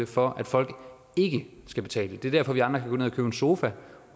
for at folk ikke skal betale det er derfor vi andre kan en sofa